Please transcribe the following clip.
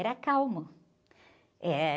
Era calmo. Eh...